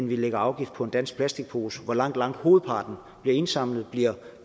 vi lægger afgift på en dansk plastikpose hvor langt langt hovedparten bliver indsamlet bliver